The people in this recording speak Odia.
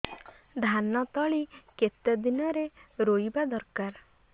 ଧାନ ତଳି କେତେ ଦିନରେ ରୋଈବା ଦରକାର